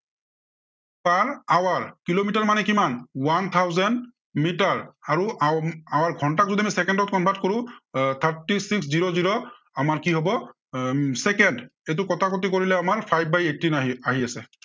per hour kilometre মানে কিমান one thousand metre আৰু ঘন্টাক যদি আমি চেকেণ্ডত convert কৰো, এৰ thirty six zero zero আমাৰ কি হব এৰ চেকেণ্ড। এইটো কটাকটি কৰিলে আমাৰ five by eighteen আহি আহি আছে।